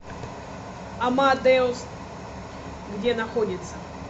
амадеус где находится